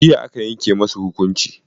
Jiya aka yanke musu hukunci.